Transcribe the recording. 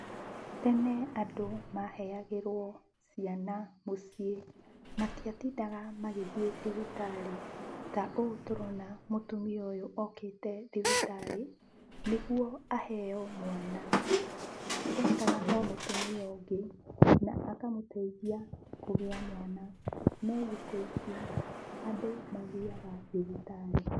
Tene andũ maheagĩrwo ciana mũciĩ, matiatindaga magĩthiĩ thibitarĩ, ta ũũ tũrona mũtumia ũyũ okĩte thibitarĩ nĩguo aheo mwana, etaga o mũtumia ũngĩ na akamũteithia kũgĩa mwana. No thikũ ici, andũ mathiaga thibitarĩ.